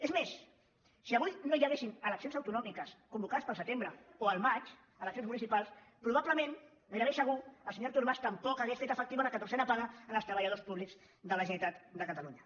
és més si avui no hi ha·guessin eleccions autonòmiques convocades per al se·tembre o al maig eleccions municipals probablement gairebé segur el senyor artur mas tampoc hauria fet efectiva la catorzena paga als treballadors públics de la generalitat de catalunya